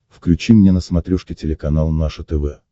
включи мне на смотрешке телеканал наше тв